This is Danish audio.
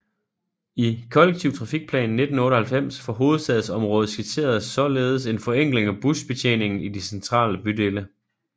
I Kollektiv Trafikplan 1998 for hovedstadsområdet skitseredes således en forenkling af busbetjeningen i de centrale bydele